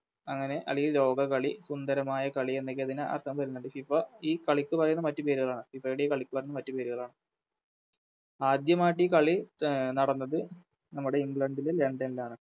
അങ്ങനെ അളി ലോക കളി സുന്ദരമായ കളി എന്നൊക്കെതിനെ അർഥം വേരുന്നുണ്ട് FIFA ഈ കളിക്ക് പറയുന്ന മറ്റു പേരുകളാണ് FIFA യുടെ ഈ കളിക്ക് മറ്റുപേരുകളാണ് ആദ്യമായിട്ടികളി അഹ് നടന്നത് നമ്മുടെ ഇംഗ്ലണ്ടിലും ലണ്ടണിലുമാണ്